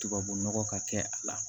Tubabu nɔgɔ ka kɛ a la